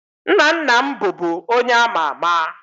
Nna nna m bụbu onye ama ama